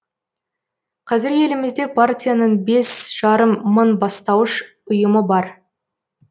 қазір елімізде партияның бес жарым мың бастауыш ұйымы бар